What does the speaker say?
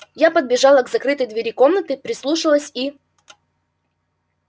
я подбежала к закрытой двери комнаты прислушалась и